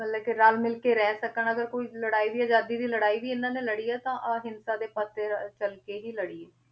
ਮਤਲਬ ਕਿ ਰਲ ਮਿਲ ਕੇ ਰਹਿ ਸਕਣ ਅਗਰ ਕੋਈ ਲੜਾਈ ਵੀ ਆਜ਼ਾਦੀ ਦੀ ਲੜਾਈ ਵੀ ਇਹਨਾਂ ਨੇ ਲੜੀ ਆ ਤਾਂ ਅਹਿੰਸਾ ਦੇ ਪੱਥ ਤੇ ਚੱਲ ਕੇ ਹੀ ਲੜੀ ਹੈ,